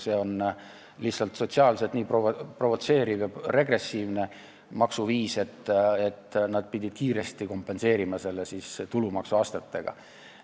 See on lihtsalt sotsiaalselt nii provotseeriv ja regressiivne maksuviis, et nad pidid seda kiiresti kompenseerima tulumaksu astmetega.